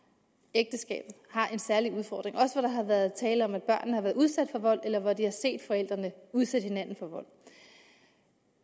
ægteskabet har en særlig udfordring også hvor der har været tale om at børnene har været udsat for vold eller hvor de har set forældrene udsætte hinanden for vold